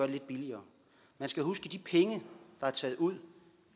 det lidt billigere man skal huske at de penge der er taget ud